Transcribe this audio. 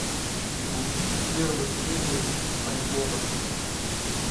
найди первую серию спанч боба